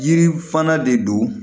Yiri fana de don